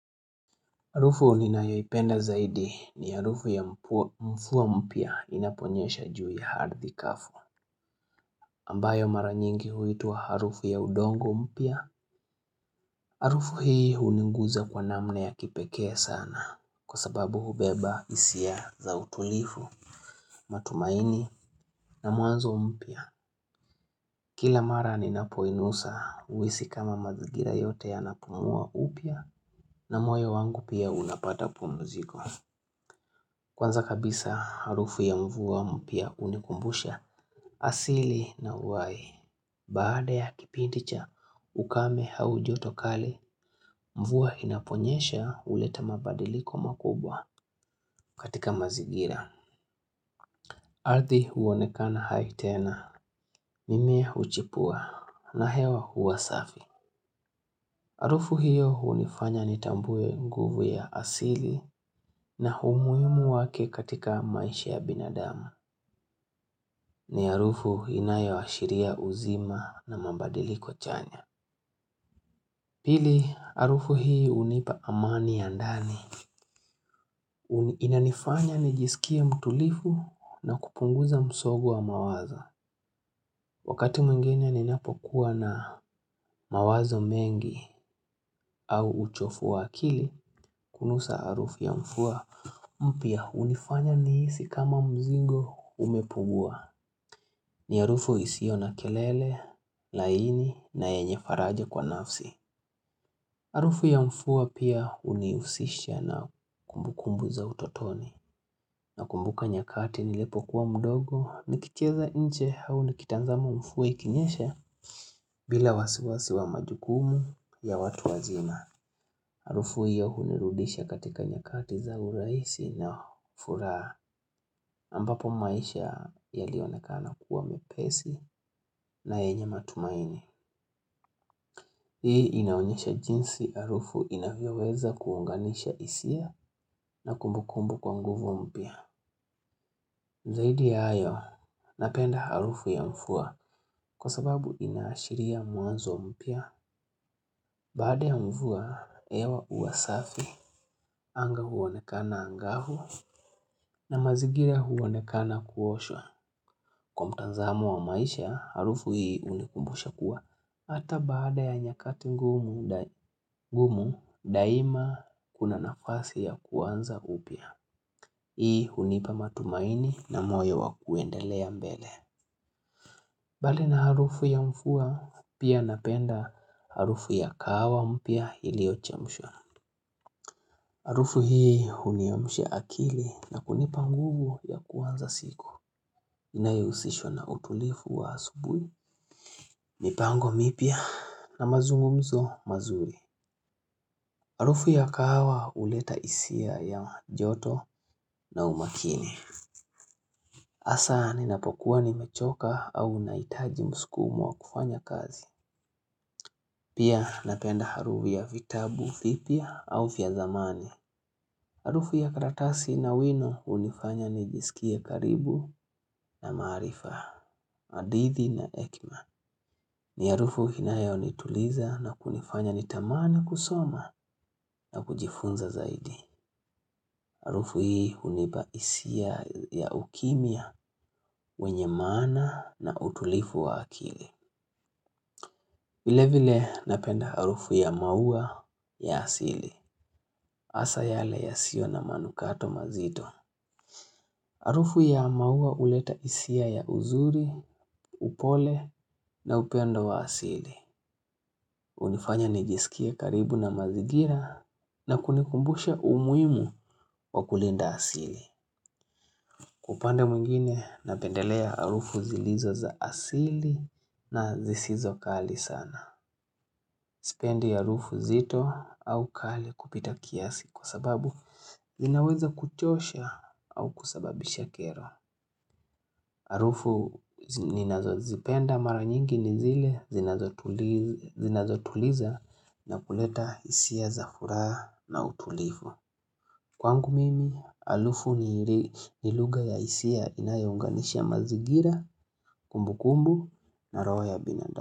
Harufu ninayoipenda zaidi ni harufu ya mfua mpya inaponyesha juu ya ardhi kafu ambayo mara nyingi huitwa harufu ya udongo mpya Harufu hii uniguza kwa namna ya kipekee sana kwa sababu hubeba hisia za utulifu, matumaini na mwanzo mpya Kila mara ninapoinusa uhisi kama mazingira yote yanapumua upya na moyo wangu pia unapata pumziko Kwanza kabisa, harufu ya mvua mpya unikumbusha asili na uhai. Baada ya kipindi cha, ukame au joto kali, mvua inaponyesha uleta mabadiliko makubwa katika mazigira. Ardhi uonekana hai tena, mimea uchipua, na hewa uwa safi. Arufu hiyo unifanya nitambue nguvu ya asili na umuhimu wake katika maisha ya binadamu. Ni harufu inayoashiria uzima na mabadiliko chanya Pili harufu hii unipa amani ya ndani Inanifanya nijisikie mtulifu na kupunguza msogu wa mawazo Wakati mwengine ninapokuwa na mawazo mengi au uchofu wa akili Kunusa arufu ya mfua mpya unifanya nihisi kama mzigo umepugua ni arufu isio na kelele, laini na yenye faraja kwa nafsi Arufu ya mfua pia uniusisha na kumbu kumbu za utotoni Nakumbuka nyakati nilipo kuwa mdogo nikicheza nje au nikitazama mfua ikinyesha bila wasiwasi wa majukumu ya watu wazima Arufu hiyo unirudisha katika nyakati za urahisi na furaha ambapo maisha yalionekana kuwa mepesi na yenye matumaini Hii inaonyesha jinsi harufu inavyoweza kuunganisha isia na kumbukumbu kwa nguvu mpya Zaidi ya ayo napenda harufu ya mfuwa kwa sababu inaashiria mwanzo mpya Baada ya mvua, hewa uwa safi, anga huonekana angavu na mazigira huonekana kuoshwa Kwa mtazamo wa maisha, harufu hii unikumbusha kuwa Hata baada ya nyakati ngumu daima kuna nafasi ya kuanza upya. Hii hunipa matumaini na moyo wa kuendelea mbele. Mbali na harufu ya mfua pia napenda harufu ya kahawa mpya iliyochemshwa. Harufu hii huniamsha akili na kunipa nguvu ya kuanza siku. Inayohusishwa na utulifu wa asubuhi. Mipango mipya na mazungumzo mazuri. Harufu ya kahawa uleta hisia ya joto na umakini. Hasa ninapokuwa nimechoka au nahitaji msukumo wa kufanya kazi. Pia napenda harufu ya vitabu, vipya au vya zamani. Harufu ya karatasi na wino unifanya nijisikie karibu na maarifa, hadithi na hekima. Ni harufu inayonituliza na kunifanya nitamani kusoma na kujifunza zaidi. Harufu hii unipa hisia ya ukimya, wenye maana na utulifu wa akili. Vile vile napenda harufu ya maua ya asili. Hasa yale yasiyo na manukato mazito. Harufu ya maua uleta hisia ya uzuri, upole na upendo wa asili. Unifanya nijisikie karibu na mazigira na kunikumbushe umuhimu wa kulinda asili. Upande mwingine napendelea harufu zilizo za asili na zisizo kali sana Sipendi harufu zito au kali kupita kiasi kwa sababu zinaweza kuchosha au kusababisha kero harufu ninazozipenda mara nyingi ni zile zinazotuliza na kuleta isia za furaha na utulivu Kwangu mimi, halufu ni luga ya hisia inayounganisha mazigira, kumbukumbu na roho ya binadamu.